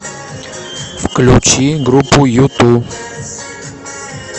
включи группу юту